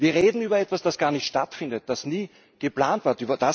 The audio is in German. Wir reden über etwas, das gar nicht stattfindet, das nie geplant war.